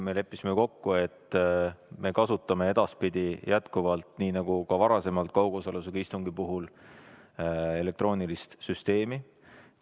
Me leppisime kokku, et me kasutame edaspidi jätkuvalt, nii nagu ka varem kaugosalusega istungi puhul, elektroonilist süsteemi.